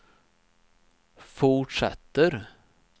fortsätter